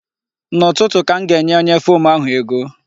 N'ụtụtụ ka m ga-enye onye fom ahụ ego.